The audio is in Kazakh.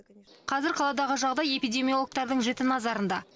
қазір қаладағы жағдай эпидемиологтардың жіті назарында